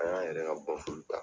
An y'an yɛrɛ ka ta.